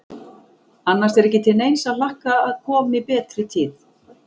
Annars er ekki til neins að hlakka að komi betri tíð.